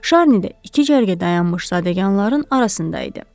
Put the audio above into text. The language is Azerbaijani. Şarni də iki cərgə dayanmış zadəganların arasında idi.